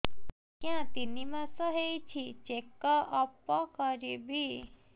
ଆଜ୍ଞା ତିନି ମାସ ହେଇଛି ଚେକ ଅପ କରିବି